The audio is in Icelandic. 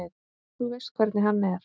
Þú veist hvernig hann er.